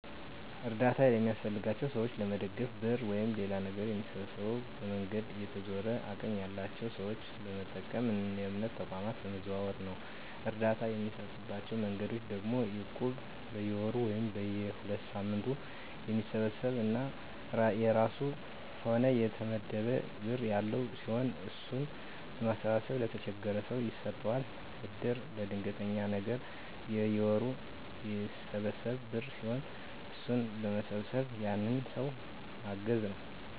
አርዳታ ለሚያስፈልጋቸው ሰዎችን ለመደገፍ ብር ወይም ሌላ ነገር ሚሰበሰበው፦ በመንገድ እየተዞረ፣ አቅም ያላቸው ሰዎችን በመጠየቅ፣ በእምነት ተቋማት በመዟዟር ነው። እርዳታ እሚሰጡባቸው መንገዶች ደግሞ እቁብ፦ በየወሩ ወይም በየ ሁለት ሳምንቱ የሚሰበሰብ እና የራሱ የሆነ የተመደበ ብር ያለው ሲሆን እሱን በማሰባሰብ ለተቸገረው ሰው ይሰጠዋል። እድር፦ ለድንገተኛ ነገር በየወሩ ሚሰበሰብ ብር ሲሆን እሱን በመሰብሰብ ያንን ሰው ማገዝ ነው።